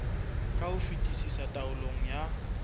ka ho fetisisa taolong ya